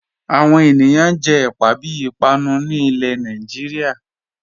Awọn ènìyàn jẹ ẹ̀pà bí ìpànù ni ilẹ̀ ní Nàìjíríà